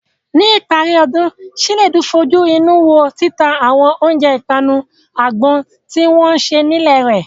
Ní ìparí ọdún, Chinedu fojú inú wo títa àwọn oúnjẹ ìpanu àgbọn tí wọ́n ṣe nílé rẹ̀.